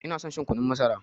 Ina son shan kunun masara.